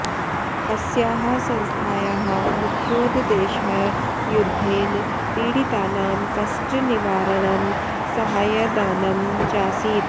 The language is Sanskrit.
अस्याः संस्थायाः मुख्योद्देशः युध्देन पीडितानां कष्टनिवारणं साहाय्यदानं चासीत्